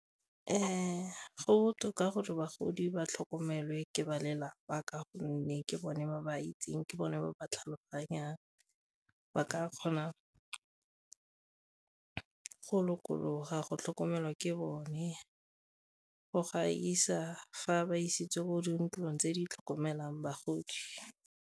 Go botoka gore bagodi ba tlhokomelwa ke ba lelapa ka gonne ke bone ba ba itseng, ke bone ba tlhaloganyang ba ka kgona ka go lokologa go tlhokomelwa ke bone go gaisa fa ba isitswe bo dintlong tse di tlhokomelang bagodi.